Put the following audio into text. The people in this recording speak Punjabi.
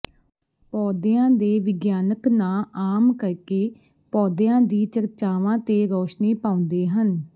ਪੌਦਿਆਂ ਦੇ ਵਿਗਿਆਨਕ ਨਾਂ ਆਮ ਕਰਕੇ ਪੌਦਿਆਂ ਦੀ ਚਰਚਾਵਾਂ ਤੇ ਰੌਸ਼ਨੀ ਪਾਉਂਦੇ ਹਨ